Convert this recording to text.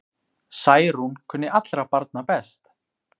Særún kunni allra barna best.